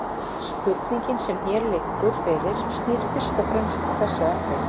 spurningin sem hér liggur fyrir snýr fyrst og fremst að þessu atriði